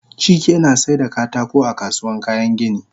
Chike nasaida katako a kasuwan kayan gini